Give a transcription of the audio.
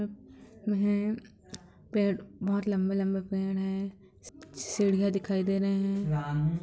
--है पेड़ बहुत लंबे-लंबे पेड़ है सीढ़ियां दिखाई दे रहे हैं ।